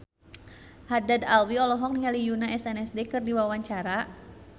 Haddad Alwi olohok ningali Yoona SNSD keur diwawancara